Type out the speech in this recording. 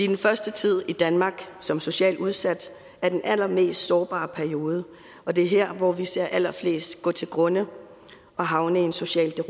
den første tid i danmark som socialt udsat er den allermest sårbare periode og det er her hvor vi ser allerflest gå til grunde og havne i en social